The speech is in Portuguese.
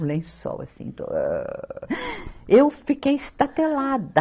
Um lençol assim, Eu fiquei estatelada.